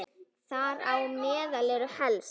Þar á meðal eru helst